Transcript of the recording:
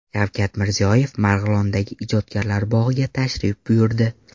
Shavkat Mirziyoyev Marg‘ilondagi Ijodkorlar bog‘iga tashrif buyurdi.